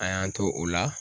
An y'an to o la